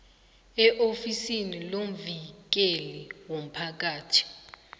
eofisini lomvikeli womphakathi